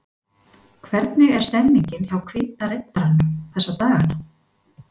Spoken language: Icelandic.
Hvernig er stemmningin hjá Hvíta riddaranum þessa dagana?